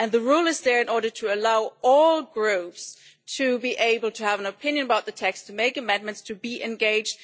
The rule is there in order to allow all Groups to be able to have an opinion about the text, to make amendments and to be engaged.